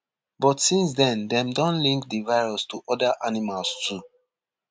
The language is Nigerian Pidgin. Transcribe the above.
but since den dem don link di virus to oda animals too